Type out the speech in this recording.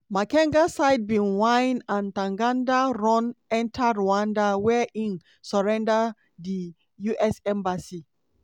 makenga side bin wine and ntaganda run enta rwanda wia e surrender to di us embassy.